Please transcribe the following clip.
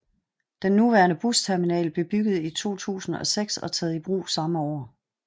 Den nuværende busterminal blev bygget i 2006 og taget i brug samme år